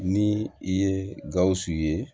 Ni i ye gawusu ye